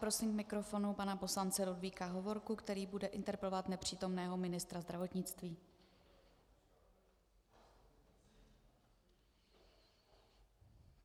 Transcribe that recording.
Prosím k mikrofonu pana poslance Ludvíka Hovorku, který bude interpelovat nepřítomného ministra zdravotnictví.